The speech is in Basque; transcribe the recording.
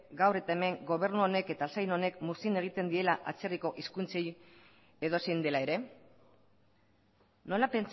gaur eta hemen gobernu honek eta saila honek muzin egiten diela atzerriko hizkuntzei edozein dela ere nola